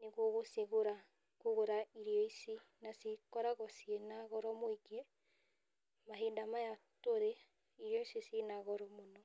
nĩguo gũcigũra, kũgũra irio ici, na cikoragwo na goro mũingĩ ,mahinda maya tũrĩ irio ici cina goro mũno.